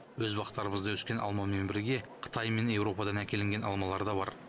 өз бақтарымызда өскен алмамен бірге қытай мен еуропадан әкелінген алмалар да бар